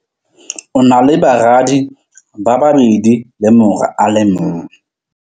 O na le baradi ba babedi le mora a le mong.